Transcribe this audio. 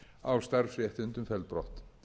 á starfsréttindum felld brott